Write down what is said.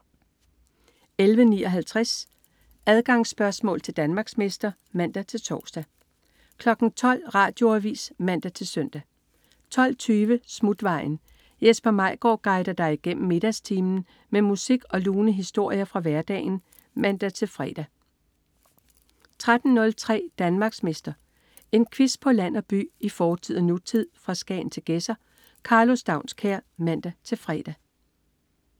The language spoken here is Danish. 11.59 Adgangsspørgsmål til Danmarksmester (man-tors) 12.00 Radioavis (man-søn) 12.20 Smutvejen. Jesper Maigaard guider dig igennem middagstimen med musik og lune historier fra hverdagen (man-fre) 13.03 Danmarksmester. En quiz på land og by, i fortid og nutid, fra Skagen til Gedser. Karlo Staunskær (man-fre)